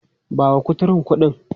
Ba wa kuturun kuɗin!.